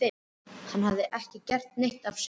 Hann hafði ekki gert neitt af sér.